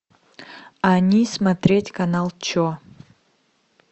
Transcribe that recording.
они смотреть канал че